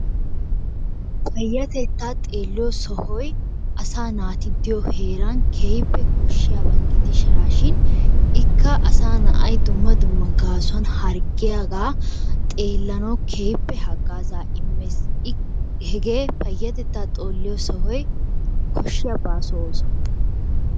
Payyatettaa xeelliyo sohoy asaa naati diyo heeran keehippe koshshiyaba gidishaashin ikka asaa na'ay dumma dumma harggiyagaa gaasuwan xeellanawu keehippe haggaazaa immees. Ikka payyatettaa xoolliya sohoy koshshiya baaso ooso.